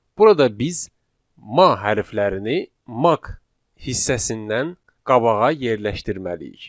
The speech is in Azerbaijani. Burada biz 'ma' hərflərini 'maq' hissəsindən qabağa yerləşdirməliyik.